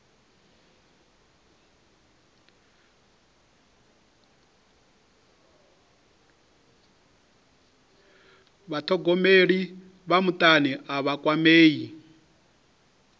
vhathogomeli vha mutani a vha kwamei